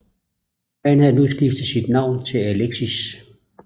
Han havde nu skiftet sit navn til Alexis